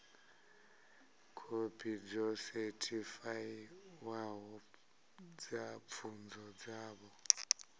khophi dzo sethifaiwaho dza pfunzo dzavho